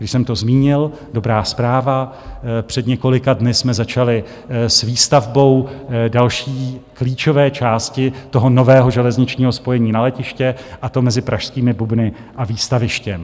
Když jsem to zmínil, dobrá zpráva - před několika dny jsme začali s výstavbou další klíčové části toho nového železničního spojení na letiště, a to mezi pražskými Bubny a Výstavištěm.